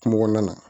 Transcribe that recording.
Kungo kɔnɔna na